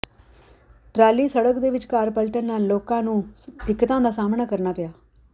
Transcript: trolley ਸੜਕ ਦੇ ਵਿਚਕਾਰ ਪਲਟਣ ਕਾਰਨ ਲੋਕਾਂ ਨੂੰ ਦਿੱਕਤਾਂ ਦਾ ਸਾਹਮਣਾ ਕਰਨਾ ਪਿਆ